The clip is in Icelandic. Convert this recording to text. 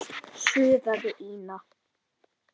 suðaði Ína.